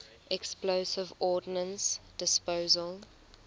explosive ordnance disposal